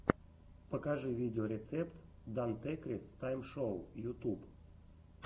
покажи видеорецепт дантекрис тайм шоу ютуб